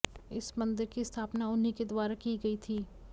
इस मंदिर की स्थापना उन्हीं के द्वारा की गई थी